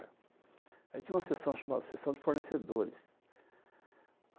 Aí tinha uma sessão chamada sessão de fornecedores.